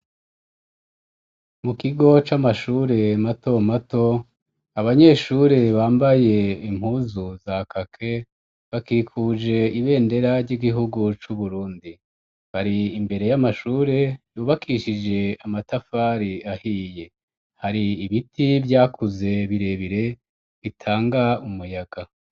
Mu kigo c'amashure mato mato, abanyeshure bambaye impuzu za kake bakikuje ibendera ry'igihugu c'Uburundi . Bari imbere y'amashure yubakishije amatafari ahiye, hari ibiti vyakuze birebire bitanga umuyaga.